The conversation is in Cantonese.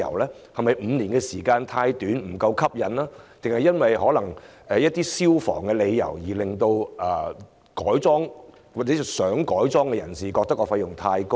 是否5年時間太短，吸引力不夠，還是因為消防問題，以致想改裝的人覺得費用太高昂？